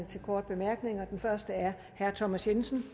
til korte bemærkninger og den første er herre thomas jensen